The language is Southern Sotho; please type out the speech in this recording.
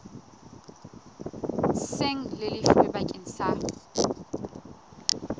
seng le lefilwe bakeng sa